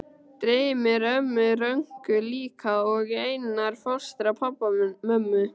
Dreymir ömmu Rönku líka og Einar fóstra, pabba, mömmu